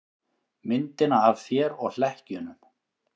Myndina af þér og hlekkjunum.